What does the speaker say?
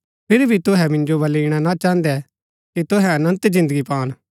फिरी भी तुहै मिन्जो बलै ईणा ना चाहन्दै कि तुहै अनन्त जिन्दगी पान